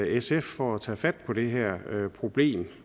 sf for at tage fat på det her problem